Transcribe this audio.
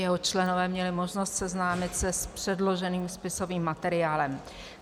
Jeho členové měli možnost seznámit se s předloženým spisovým materiálem.